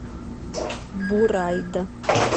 бурайда